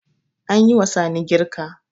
An yi wa Sani girka.